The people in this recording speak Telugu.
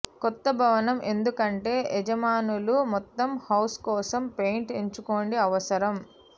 కొత్త భవనం ఎందుకంటే యజమానులు మొత్తం హౌస్ కోసం పెయింట్ ఎంచుకోండి అవసరం